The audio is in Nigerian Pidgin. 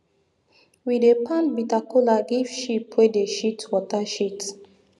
we dey pound bita kola give sheep wey dey shit water shit